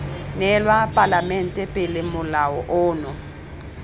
neelwa palamente pele molao ono